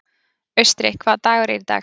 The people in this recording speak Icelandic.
Austri, hvaða dagur er í dag?